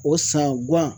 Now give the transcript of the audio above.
O san guwan